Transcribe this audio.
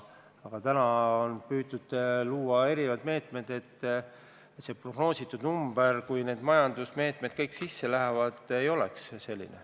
Aga täna on püütud luua eri meetmeid, et see prognoositud number – kui need majandusmeetmed kõik sisse lähevad – ei oleks selline.